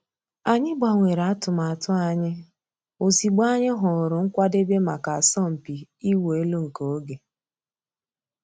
Ànyị̀ gbànwèrè àtùmàtù ànyị̀ òzịgbọ̀ ànyị̀ hụ̀rù nkwàdèbè mǎká àsọ̀mpị ị̀wụ̀ èlù nke ògè.